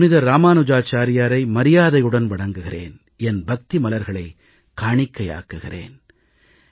நான் புனிதர் இராமானுஜாச்சாரியாரை மரியாதையுடன் வணங்குகிறேன் என் பக்தி மலர்களைக் காணிக்கையாக்குகிறேன்